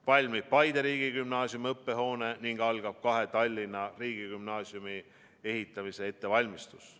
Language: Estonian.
Valmib Paide riigigümnaasiumi õppehoone ning algab kahe Tallinna riigigümnaasiumi ehitamise ettevalmistus.